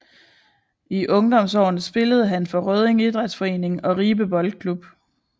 I ungdomsårene spillede han for Rødding Idrætsforening og Ribe Boldklub